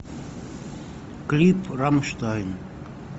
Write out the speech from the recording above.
клип рамштайн